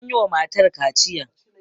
an yi wa matar kaciya